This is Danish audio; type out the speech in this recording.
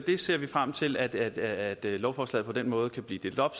vi ser frem til at at det lovforslag på den måde kan blive delt op